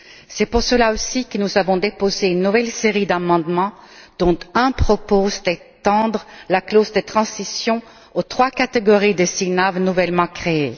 C'est pour cette raison que nous avons déposé une nouvelle série d'amendements, dont l'un propose d'étendre la clause de transition aux trois catégories de VLC nouvellement créées.